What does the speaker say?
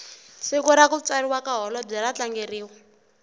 siku rakutswariwa kahholobwe ratlangeriwa